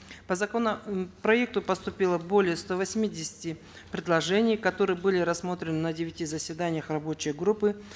по законопроекту поступило более ста восьмидесяти предложений которые были рассмотрены на девяти заседаниях рабочей группы